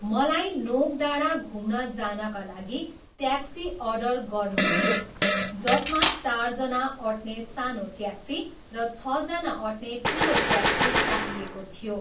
मलाई नोक डाँडा घुम्न जानका लागि ट्याक्सी अर्डर गर्नु थियो जसमा चारजना अट्ने सानो ट्याक्सी र छजना अट्ने ठुलो ट्याक्सी चाहिएको थियो।